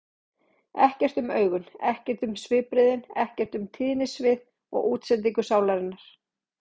Ekkert um augun, ekkert um svipbrigðin, ekkert um tíðnisvið og útsendingu sálarinnar.